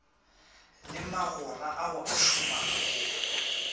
le magora ao a šomago